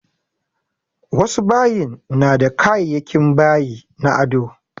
Wasu bayin na da kayayakin bayi na ado